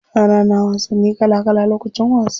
Yara na wasanni kala kala lokacin wasa.